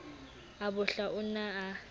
a bohla o ne a